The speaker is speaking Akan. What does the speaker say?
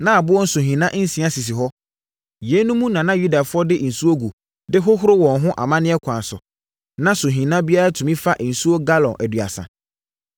Na aboɔ nsuhina nsia sisi hɔ; yeinom mu na na Yudafoɔ de nsuo gu de hohoro wɔn ho amanneɛ kwan so. Na suhina biara tumi fa nsuo galɔn aduasa.